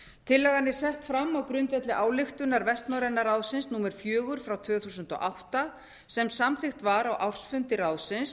tillagan er sett fram á grundvelli ályktunar vestnorræna ráðsins númer fjögur tvö þúsund og átta sem samþykkt var á ársfundi ráðsins